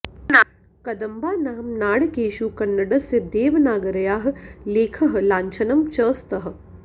कदम्बानां नाणकेषु कन्नडस्य देवनागर्याः लेखः लाञ्छनं च स्तः